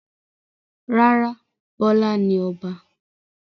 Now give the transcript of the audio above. Rárá, Bọ́lá ni Ọba.